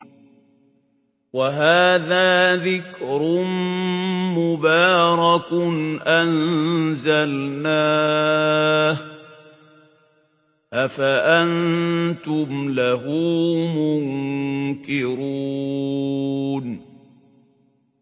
وَهَٰذَا ذِكْرٌ مُّبَارَكٌ أَنزَلْنَاهُ ۚ أَفَأَنتُمْ لَهُ مُنكِرُونَ